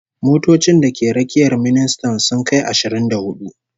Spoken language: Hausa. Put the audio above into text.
Motocin da ke rakiyar ministan sun kai ashirin da hudu